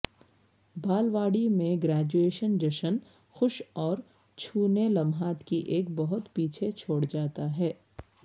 بالواڑی میں گریجویشن جشن خوش اور چھونے لمحات کی ایک بہت پیچھے چھوڑ جاتا ہے